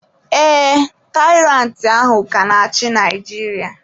Ee, Tairantị ahụ ka na-achị Naijiria.